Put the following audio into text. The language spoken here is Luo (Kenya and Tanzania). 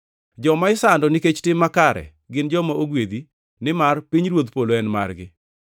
Joma isando nikech tim makare gin joma ogwedhi, nimar pinyruodh polo en margi.